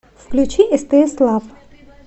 включи стс лав